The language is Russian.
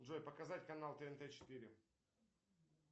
джой показать канал тнт четыре